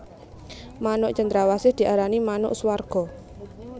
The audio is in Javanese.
Manuk cendrawsih diarani manuk swarga